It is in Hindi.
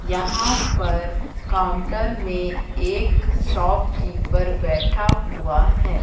यहां पर काउंटर में एक शॉपकीपर बैठा हुआ है।